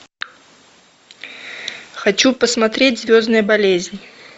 хочу посмотреть звездная болезнь